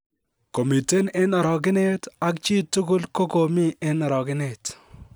"Komiten en orogenet, ak chi tugul kogomii en orogenet."